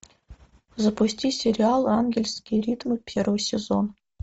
запусти сериал ангельские ритмы первый сезон